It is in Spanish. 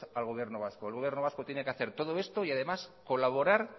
al gobierno vasco el gobierno vasco tiene que hacer todo esto y además colaborar